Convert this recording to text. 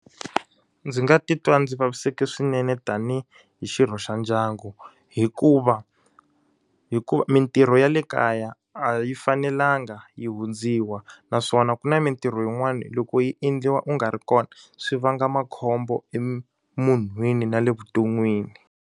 Ndzi nga titwa ndzi vavisekile swinene tanihi hi xirho xa ndyangu. Hikuva hikuva mintirho ya le kaya a yi fanelanga yi hundziwa naswona ku na mintirho yin'wana loko yi endliwa u nga ri kona, swi vanga makhombo emunhwini na le vuton'wini